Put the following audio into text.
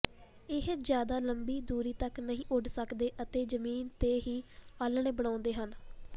ਇਹ ਜ਼ਿਆਦਾ ਲੰਬੀ ਦੂਰੀ ਤੱਕ ਨਹੀਂ ਉੱਡ ਸਕਦੇ ਅਤੇ ਜ਼ਮੀਨ ਤੇ ਹੀ ਆਲ੍ਹਣੇ ਬਣਾਉਂਦੇ ਹਨ